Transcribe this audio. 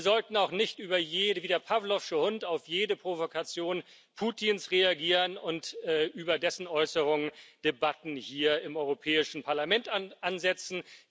Wir sollten auch nicht wie der pawlowsche Hund auf jede Provokation Putins reagieren, und über dessen Äußerungen Debatten hier im Europäischen Parlament ansetzen.